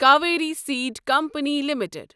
Kaveri seed company limited